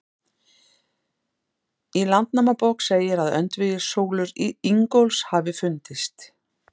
Í Landnámabók segir að öndvegissúlur Ingólfs hafi fundist.